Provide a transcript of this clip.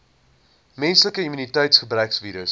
menslike immuniteitsgebrekvirus